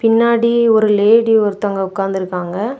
பின்னாடி ஒரு லேடி ஒருத்தவங்க ஒக்காந்துருக்காங்க.